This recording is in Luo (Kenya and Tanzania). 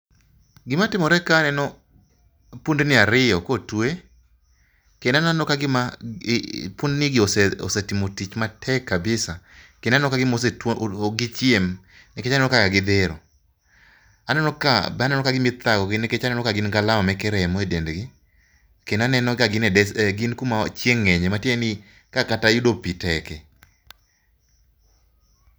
Gima timore kae, aneno pundni ariyo kotwe kendo aneno kagima pundnigi osetimo tich matek kabisa. Kendo aneno kagima oset ok gichiem, nikech aneno kaka gidhero. Aneno ka be aneno kagima ithagogi. Aneno kagin gi alama moko e dendgi kendo aneno ka gin e des gin kuma chieng' ng'enyie matiende ni kae kata yudo pi tekie.